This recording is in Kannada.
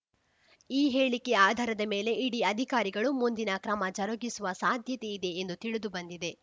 ಈ ಹೇಳಿಕೆ ಆಧಾರದ ಮೇಲೆ ಇಡಿ ಅಧಿಕಾರಿಗಳು ಮುಂದಿನ ಕ್ರಮ ಜರುಗಿಸುವ ಸಾಧ್ಯತೆ ಇದೆ ಎಂದು ತಿಳಿದುಬಂದಿದೆ